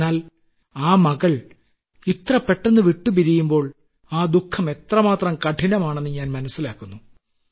എന്നാൽ ആ മകൾ ഇത്ര പെട്ടെന്ന് വിട്ടുപിരിയുമ്പോൾ ആ ദുഖം എത്രമാത്രം കഠിനമാണെന്ന് ഞാൻ മനസ്സിലാക്കുന്നു